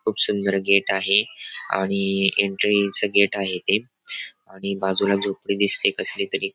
खूप सुंदर गेट आहे आणि एन्ट्रीच गेट आहे ते आणि बाजूला झोपडी दिसतेय कसलीतरी --